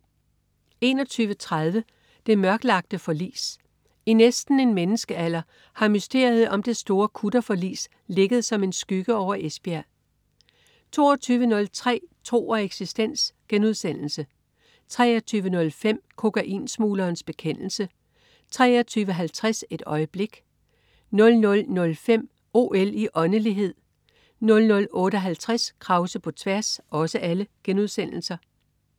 21.30 Det mørklagte forlis. I næsten en menneskealder har mysteriet om det store kutterforlis ligget som en skygge over Esbjerg 22.03 Tro og eksistens* 23.05 Kokainsmuglerens bekendelse* 23.50 Et øjeblik* 00.05 OL i åndelighed* 00.58 Krause på tværs*